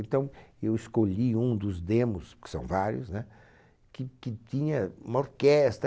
Então, eu escolhi um dos demos, que são vários, né? Que, que tinha uma